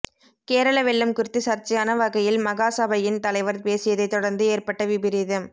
கேரள வெள்ளம் குறித்து சர்ச்சையான வகையில் மகாசபையின் தலைவர் பேசியதைத் தொடர்ந்து ஏற்பட்ட விபரீதம்